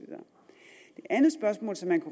andet spørgsmål som man